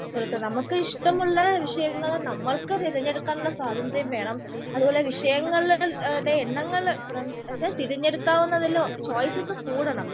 കൊടുക്കുന്നത്. നമുക്ക് ഇഷ്ടമുള്ള വിഷയങ്ങൾ നമ്മൾക്ക് തിരഞ്ഞെടുക്കാൻ ഉള്ള സ്വാതന്ത്ര്യം വേണം. അതുപോലെ വിഷയങ്ങളുടെ എണ്ണങ്ങൾ തിരഞ്ഞെടുക്കാവുന്നതിൽ ചോയ്‌സസ് കൂടണം.